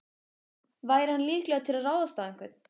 Væri hann líklegur til að ráðast á einhvern?